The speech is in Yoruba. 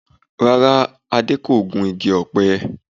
Rárá, Adé kò gun igi ọ̀pẹ